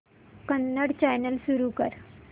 Kannada channel सुरू कर